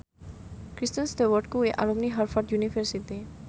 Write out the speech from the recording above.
Kristen Stewart kuwi alumni Harvard university